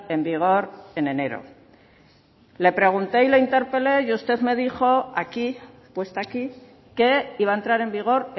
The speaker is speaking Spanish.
en vigor en enero le pregunté y le interpelé y usted me dijo aquí puesta aquí que iba a entrar en vigor